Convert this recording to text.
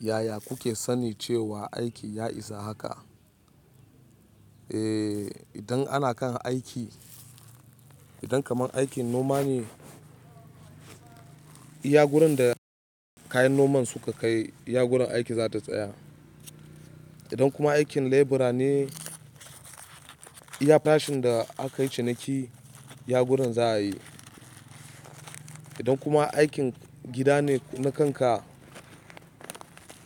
Yaya kuke sanin cewa aiki ya isa haka? Eh, idan ana kan aiki, idan kaman aikin noma ne, iya gurin da kayan noman suka kai, iya gurin aiki za ta tsaya. Idan kuma aikin lebura ne, iya farashin da akayi ciniki iya gurin za'ayi idan kuma aikin gida ne na kanka,